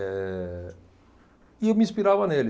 Eh, e eu me inspirava nele.